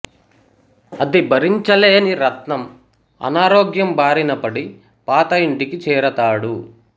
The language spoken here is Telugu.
అది భరించలేని రత్నం అనారోగ్యం బారినపడి పాత ఇంటికి చేరతాడు